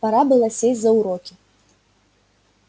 пора было сесть за уроки